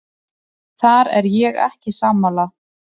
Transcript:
Þar er ég ekki sammála.